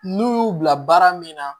N'u y'u bila baara min na